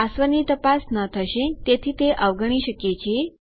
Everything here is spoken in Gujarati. પાસવર્ડની તપાસ ન થશે તેથી તે અવગણી શકીએ છીએ